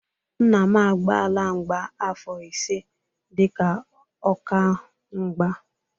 Nna m agbaala mgba afọ ise dị ka ọka mgba.